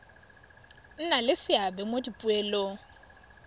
nna le seabe mo dipoelong